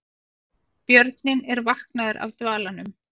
Björninn er vaknaður af dvalanum